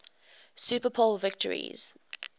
super bowl victories